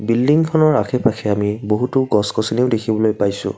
বিল্ডিংখনৰ আশে পাশে আমি বহুতো গছ-গছনিও দেখিবলৈ পাইছোঁ।